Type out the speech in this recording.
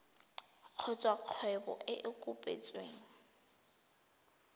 kgotsa kgwebo e e kopetsweng